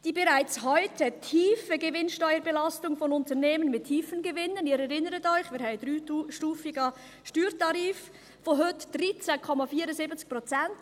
«Die bereits heute Gewinnsteuerbelastung von Unternehmen mit tiefen Gewinnen [...]»– Sie erinnern sich, wir haben einen dreistufigen Steuertarif von heute 13,74 Prozent.